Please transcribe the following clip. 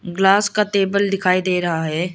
Glass का table दिखाई दे रहा है।